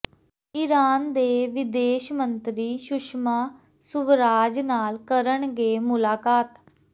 Iran ਦੇ ਵਿਦੇਸ਼ ਮੰਤਰੀ ਸੁਸ਼ਮਾ ਸੁਵਰਾਜ ਨਾਲ ਕਰਨਗੇ ਮੁਲਾਕਾਤ